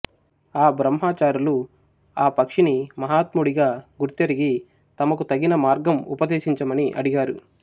ఆ బ్రహ్మచారులు ఆ పక్షిని మహాత్ముడిగా గుర్తెరిగి తమకు తగిన మార్గం ఉపదేశించమని అడిగారు